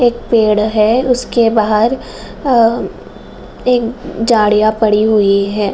एक पेड़ है उसके बाहर आ एक जाड़िया पड़ी हुई है |